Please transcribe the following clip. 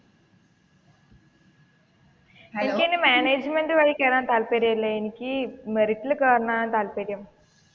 എനിക്ക് മാനേജ്‍മെന്റ് വഴി കേറാൻ താല്പര്യമില്ല എനിക്ക് മെറിറ്റിൽ കേറാനാണ് താല്പര്യം.